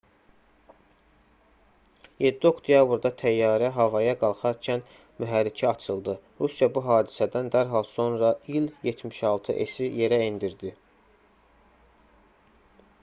7 oktyabrda təyyarə havaya qalxarkən mühərriki açıldı. rusiya bu hadisədən dərhal sonra i̇l-76s-i yerə endirdi